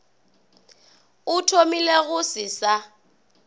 a thomile go se sa